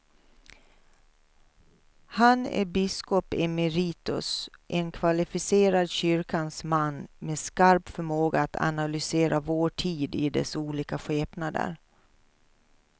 Han är biskop emeritus, en kvalificerad kyrkans man med skarp förmåga att analysera vår tid i dess olika skepnader.